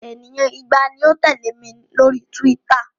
Ènìyàn igba ni ó ń tẹ̀lẹ́ mi lórí Twitter.